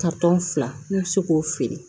fila ne bɛ se k'o feere